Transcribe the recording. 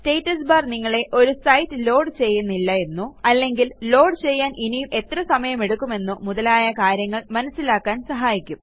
status bar നിങ്ങളെ ഒരു site load ചെയ്യുന്നില്ല എന്നോ അല്ലെങ്കിൽ ലോഡ് ചെയ്യാൻ ഇനിയും എത്ര സമയമെടുക്കുമെന്നോ മുതലായ കാര്യങ്ങൾ മനസ്സിലാക്കാൻ സഹായിക്കും